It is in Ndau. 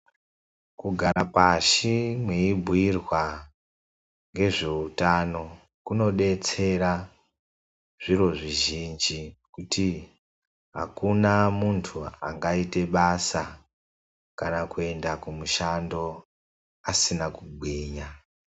Kugara pashi mweibhuirwa ngezveutano kunodetsera zviro zvizhinji, kuti akuna muntu angaita basa kana kuenda kumushando asina kugwinya.